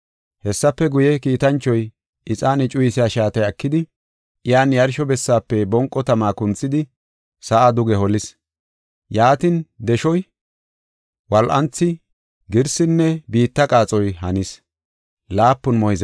Hessafe guye, kiitanchoy ixaane cuyisiya shaatiya ekidi, iyan yarsho bessaafe bonqo tama kunthidi sa7a duge holis. Yaatin deshoy, wol7anthi, girsinne biitta qaaxoy hanis.